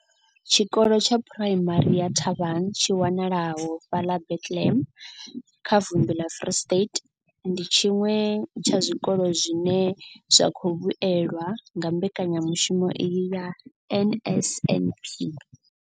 Tshikolo tsha phuraimari ya Thabang tshi wanalaho fhaḽa Bethlehem kha vunḓu ḽa Free State, ndi tshiṅwe tsha zwikolo zwine zwa khou vhuelwa nga mbekanyamushumo iyi ya NSNP.